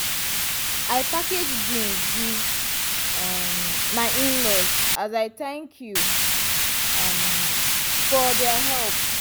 i package beans give um my in-laws as i thank you um for their help.